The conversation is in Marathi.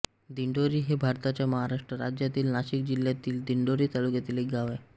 दिंडोरी हे भारताच्या महाराष्ट्र राज्यातील नाशिक जिल्ह्यातील दिंडोरी तालुक्यातील एक गाव आहे